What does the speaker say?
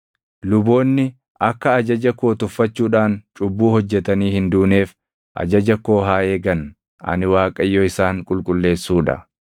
“ ‘Luboonni akka ajaja koo tuffachuudhaan cubbuu hojjetanii hin duuneef ajaja koo haa eegan. Ani Waaqayyo isaan qulqulleessuu dha.